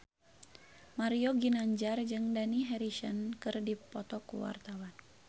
Mario Ginanjar jeung Dani Harrison keur dipoto ku wartawan